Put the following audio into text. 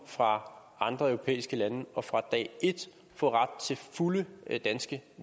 fra andre europæiske lande og fra dag et få ret til fulde danske